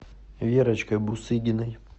верочкой бусыгиной